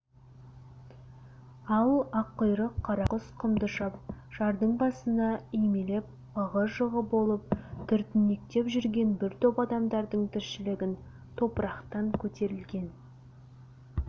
ал аққұйрық қарақұс құмдышап жардың басына үймелеп ығы жығы болып түртінектеп жүрген бір топ адамдардың тіршілігін топырақтан көтерілген